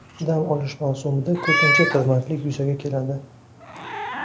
Dam olish mavsumida ko‘pincha tirbandlik yuzaga keladi.